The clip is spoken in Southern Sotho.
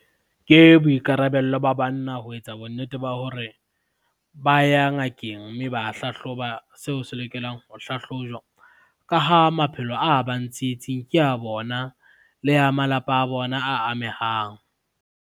Ke boikarabello ba banna ho etsa bonnete ba hore, ba ya ngakeng mme ba hlahloba seo se lokelang ho hlahlojwa. Ka ha maphelo a bang tsietsing ke a bona le ya malapa a bona a amehang.